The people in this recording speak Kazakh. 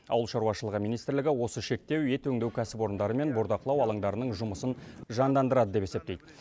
ауылшаруашылығы министрлігі осы шектеу ет өңдеу кәсіпорындары мен бордақылау алаңдарының жұмысын жандандырады деп есептейді